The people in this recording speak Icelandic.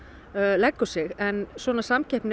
leggur sig en svona samkeppni